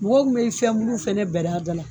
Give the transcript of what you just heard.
Mɔgɔw kun bɛ fiyɛn bulu fɛnɛ bɛri a la.